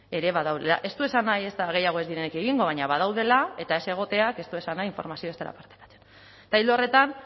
ere badaudela ez du esan nahi ezta ere gehiago ez diren egingo baina badaudela eta ez egoteak ez du esan nahi informazioa ez dela partekatzen eta ildo horretan